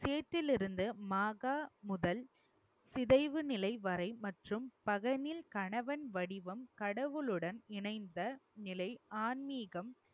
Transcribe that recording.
சேற்றில் இருந்து மாகா முதல் சிதைவு நிலை வரை மற்றும் கணவன் வடிவம் கடவுளுடன் இணைந்த நிலை ஆன்மீகம்